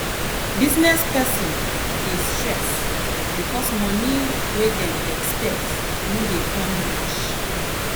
business person dey stress because money wey dem expect no dey come reach.